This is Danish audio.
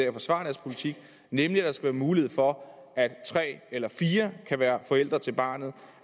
og forsvare deres politik nemlig at der skal være mulighed for at tre eller fire kan være forældre til barnet